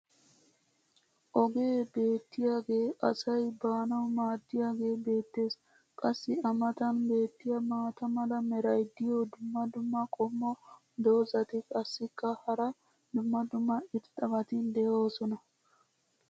ogee beettiyaagee asay baanawu maadiyaagee beettees. qassi a matan beettiya maata mala meray diyo dumma dumma qommo dozzati qassikka hara dumma dumma irxxabati doosona.